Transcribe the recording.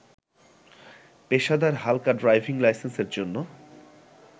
পেশাদার হালকা ড্রাইভিং লাইসেন্সের জন্য